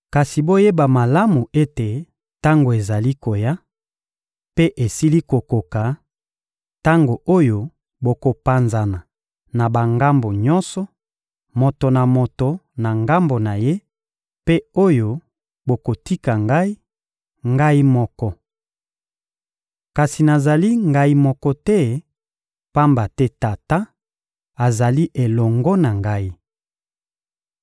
Kasi boyeba malamu ete tango ezali koya, mpe esili kokoka, tango oyo bokopanzana na bangambo nyonso, moto na moto na ngambo na ye, mpe oyo bokotika Ngai, Ngai moko. Kasi nazali Ngai moko te, pamba te Tata azali elongo na Ngai.